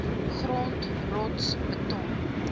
grond rots beton